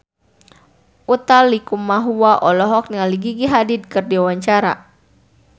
Utha Likumahua olohok ningali Gigi Hadid keur diwawancara